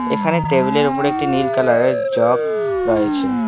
এখানে টেবিলের ওপরে একটি নীল কালারের জগ রয়েছে।